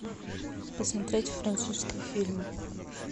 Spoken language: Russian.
посмотреть французские фильмы